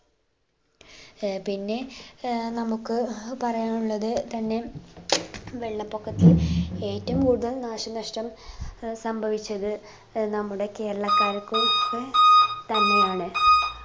ഏർ പിന്നെ ഏർ നമുക്ക് പറയാനുള്ളത് തന്നെ വെള്ളപ്പൊക്കത്തിൽ ഏറ്റവും കൂടുതൽ നാശനഷ്ടം ഏർ സംഭവിച്ചത് ഏർ നമ്മുടെ കേരളക്കാർക്കും തന്നെയാണ്